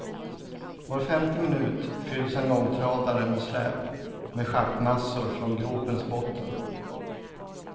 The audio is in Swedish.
Var femte minut fylls en långtradare med släp med schaktmassor från gropens botten.